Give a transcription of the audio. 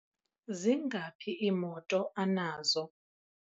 zingaphi iimoto anazo?